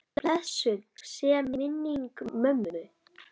Blessuð sé minning mömmu.